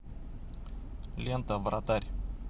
лента вратарь